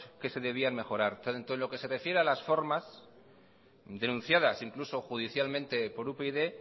que se debían mejorar entonces lo que se refiere a las formas denunciadas incluso judicialmente por upyd